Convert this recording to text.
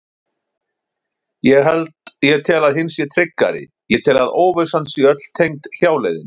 Ég tel að hin sé tryggari, ég tel að óvissan sé öll tengd hjáleiðinni.